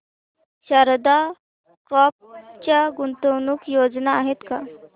Sharda crop च्या गुंतवणूक योजना आहेत का